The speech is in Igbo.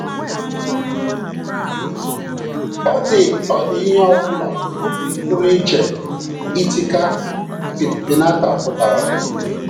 Ọ̀ dị ihe ọ bụla pụrụ iche itika piñata pụtara?